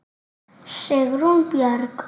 Sigrún Björg.